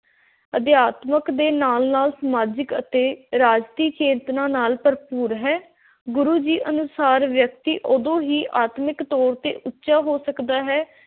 ਅਧਿਆਤਮਿਕ ਦੇ ਨਾਲ – ਨਾਲ ਸਮਾਜਿਕ ਅਤੇ ਰਾਜਸੀ ਚੇਤਨਾ ਨਾਲ ਭਰਪੂਰ ਹੈ। ਗੁਰੂ ਜੀ ਅਨੁਸਾਰ ਵਿਅਕਤੀ ਉਦੋਂ ਹੀ ਆਤਮਿਕ ਤੌਰ ‘ ਤੇ ਉੱਚਾ ਹੋ ਸਕਦਾ ਹੈ,